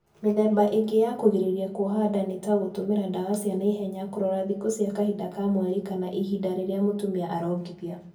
Mĩthemba ĩngĩ ya kũgirĩrĩa kuoha nda nĩ ta; gũtũmĩra dawa cia naihenya, kũrora thikũ cia kahinda ka mweri, kana ihinda rĩrĩa mũtumia arongithia